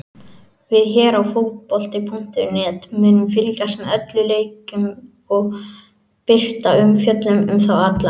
Við hér á fótbolti.net munum fylgjast með öllum leikjunum og birta umfjöllun um þá alla.